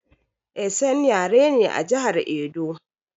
Esan yare ne a jihar Edo